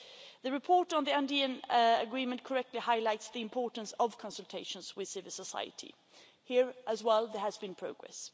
The report on the Andean Agreement correctly highlights the importance of consultations with civil society. Here as well there has been progress.